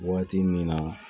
Waati min na